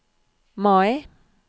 Mai